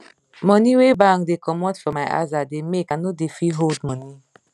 money wey bank dey comot for my aza da make i no da fit hold money